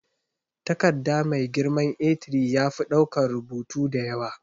Takarda mai girman A3 yafi daukan rubutu da yawa.